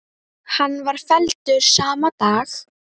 Hann var felldur sama dag.